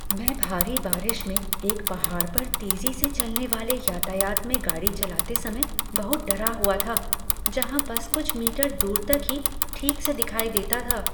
मैं भारी बारिश में एक पहाड़ पर तेजी से चलने वाले यातायात में गाड़ी चलाते समय बहुत डरा हुआ था, जहाँ बस कुछ मीटर दूर तक ही ठीक से दिखाई देता था।